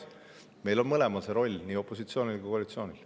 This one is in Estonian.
See roll on mõlemal, nii opositsioonil kui koalitsioonil.